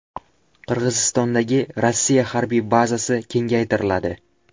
Qirg‘izistondagi Rossiya harbiy bazasi kengaytiriladi.